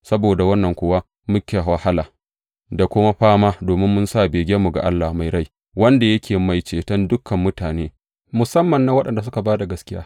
Saboda wannan kuwa muke wahala da kuma fama, domin mun sa begenmu ga Allah mai rai, wanda yake Mai Ceton dukan mutane, musamman na waɗanda suka ba da gaskiya.